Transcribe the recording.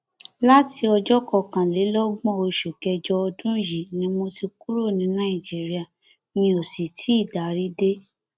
láti ọjọ kọkànlélọgbọn oṣù kẹjọ ọdún yìí ni mo ti kúrò ní nàìjíríà mi ó sì tì í darí dé